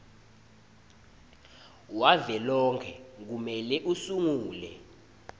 wavelonkhe kumele usungule